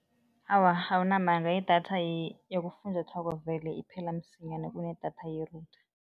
Awa, awunamala. Idatha yabofunjathwako vele iphela msinyana kunedatha ye-router.